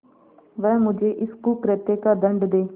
वह मुझे इस कुकृत्य का दंड दे